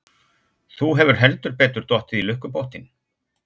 Þú hefur heldur betur dottið í lukkupottinn!